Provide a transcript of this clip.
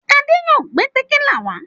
Adé yóò gbé tẹ̀kílà wá.